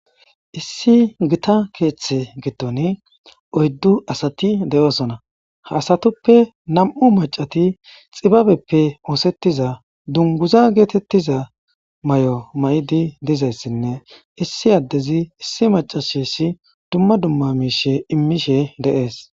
issi gita keeththe giddon oyddu asati de'osona, ha asatuppe nam'u macati xibabeppe oosettiza dunguza geetettiza mayo mayidi dizayssinne issi addezi issi macashessi dumma dumma miishe immishe de'es.